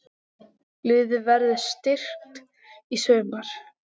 Liðið verður styrkt í sumar.